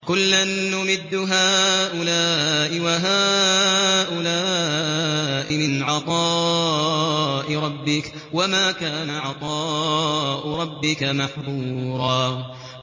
كُلًّا نُّمِدُّ هَٰؤُلَاءِ وَهَٰؤُلَاءِ مِنْ عَطَاءِ رَبِّكَ ۚ وَمَا كَانَ عَطَاءُ رَبِّكَ مَحْظُورًا